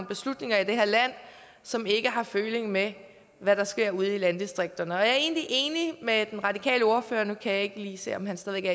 beslutninger i det her land som ikke har føling med hvad der sker ude i landdistrikterne jeg er egentlig enig med den radikale ordfører nu kan jeg ikke lige se om han stadig